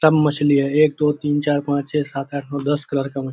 सब मछली है एक दो तीन चार पांच छे सात आठ नौ दस कलर का मच्छ --